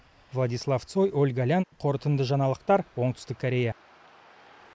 владислав цой ольга лян қорытынды жаңалықтар оңтүстік корея